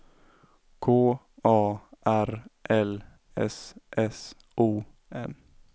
K A R L S S O N